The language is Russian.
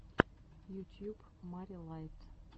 ютьюб мари лайт